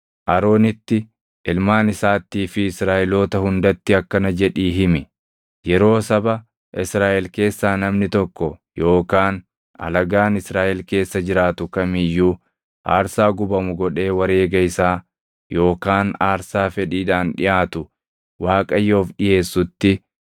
“Aroonitti, ilmaan isaattii fi Israaʼeloota hundatti akkana jedhii himi; ‘Yeroo saba Israaʼel keessaa namni tokko yookaan alagaan Israaʼel keessa jiraatu kam iyyuu aarsaa gubamu godhee wareega isaa yookaan aarsaa fedhiidhaan dhiʼaatu Waaqayyoof dhiʼeessutti,